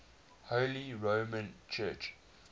holy roman church